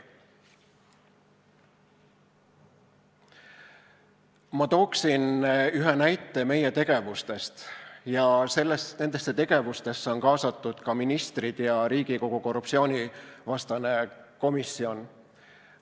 Ma tooksin ühe näite meie tegevustest, millesse on kaasatud ka ministrid ja Riigikogu korruptsioonivastane komisjon.